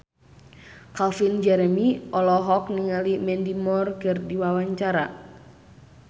Calvin Jeremy olohok ningali Mandy Moore keur diwawancara